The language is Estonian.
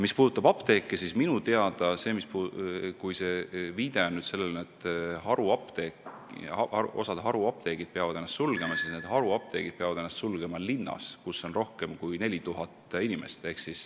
Mis puudutab apteeke, siis kui te viitate sellele, et osa haruapteeke peab ennast sulgema, siis minu teada on nii, et need apteegid peavad ennast sulgema linnas, kus on rohkem kui 4000 inimest.